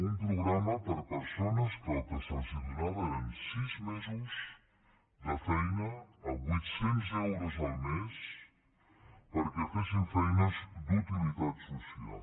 un programa per a persones que el que se’ls donava eren sis mesos de feina a vuit cents euros el mes perquè fessin feines d’utilitat social